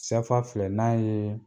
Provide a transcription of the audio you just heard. Sɛfa filɛ n'a ye